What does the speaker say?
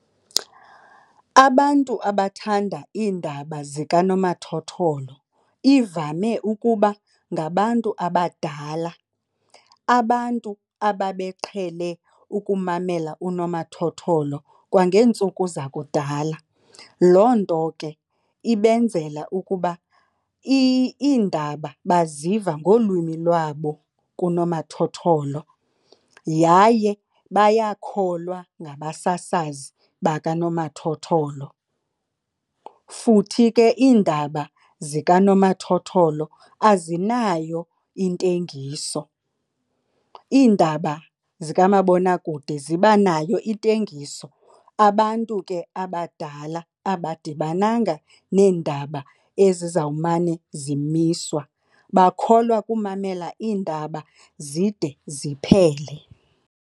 Abantu abathanda iindaba zikanomathotholo ivame ukuba ngabantu abadala, abantu abebeqhele ukumamela unomathotholo kwangeentsuku zakudala. Loo nto ke ibenzela ukuba iindaba baziva ngolwimi lwabo kunomathotholo yaye bayakholwa ngabasasazi bakanomathotholo, futhi ke iindaba zikanomathotholo azinayo intengiso. Iindaba zikamabonakude zibanayo intengiso abantu ke abadala abadibananga neendaba ezizawumane zimiswa, bakholwa kumamela iindaba zide ziphele.